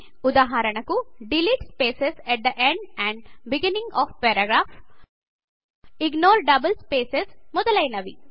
ఉదాహరణకు delete spaces at the end and beginning of paragraph ignore double spaces మొదలైనవి